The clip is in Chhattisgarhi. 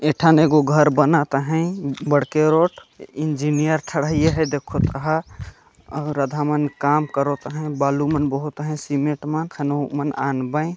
ए ठान ए गो घर बनत हे बडके रोड इंजीनियर ठड़इया हे देखो कहा अउर आधा मन काम करत हे बालू मन बहुत हे सीमेट मन खनो मन आनवे।